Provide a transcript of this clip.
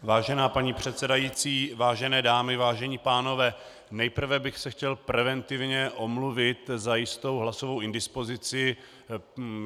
Vážená paní předsedající, vážené dámy, vážení pánové, nejprve bych se chtěl preventivně omluvit za jistou hlasovou indispozici.